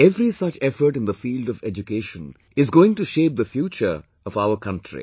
Every such effort in the field of education is going to shape the future of our country